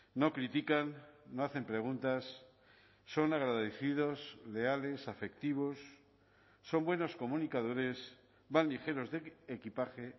no critican no hacen preguntas son agradecidos leales afectivos son buenos comunicadores van ligeros de equipaje